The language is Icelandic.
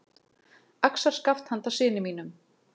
Axarskaft handa syni mínum.